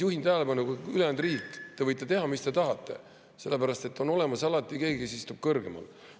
Juhin tähelepanu, ülejäänud riik, te võite teha, mis te tahate, sellepärast et on olemas alati keegi, kes istub kõrgemal.